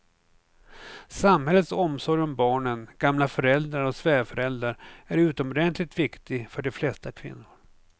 Samhällets omsorg om barnen, gamla föräldrar och svärföräldrar är utomordentligt viktig för de flesta kvinnor.